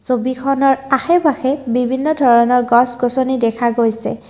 ছবিখনৰ আশে পাশে বিভিন্ন ধৰণৰ গছ গছনি দেখা গৈছে।